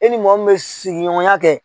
E ni mɔgɔ min mɛ sigiɲɔgɔnya kɛ